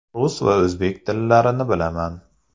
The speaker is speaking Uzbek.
Rus va o‘zbek tillarini bilaman.